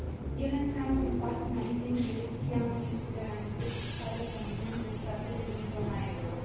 Ele înseamnă un pas înainte în direcția unei suveranități fiscale comune între statele din zona euro.